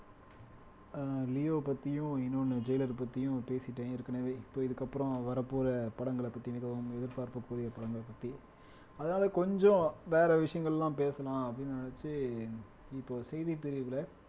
ஆஹ் leo பத்தியும் இன்னொன்னு jailer பத்தியும் பேசிட்டேன் ஏற்கனவே இப்ப இதுக்கப்புறம் வரப்போற படங்கள பத்தி மிகவும் எதிர்பார்ப்புக்குரிய படங்கள பத்தி அதாவது கொஞ்சம் வேற விஷயங்கள் எல்லாம் பேசலாம் அப்படின்னு நினைச்சு இப்போ செய்தி பிரிவுல